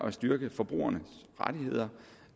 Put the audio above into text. at styrke forbrugernes rettigheder